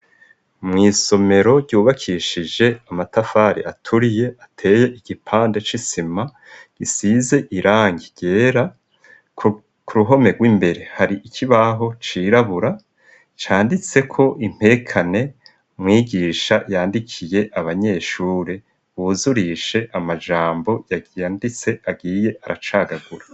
mw' isomero ryubakishije amatafari aturiye ateye igipande c'isima gisize irangi ryera ku ruhome gw'imbere hari ikibaho cirabura canditseko impekane mwigisha yandikiye abanyeshuri buzurishe amajambo yanditse agiye aracagagura